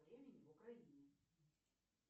времени в украине